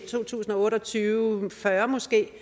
to tusind og otte og tyve måske